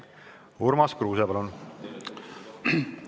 Urmas Kruuse, palun!